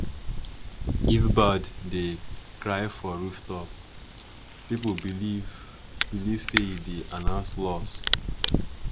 if bird dey cry for rooftop people believe believe say e dey announce loss.